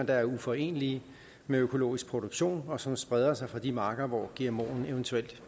er uforenelig med økologisk produktion og som spreder sig fra de marker hvor gmoen eventuelt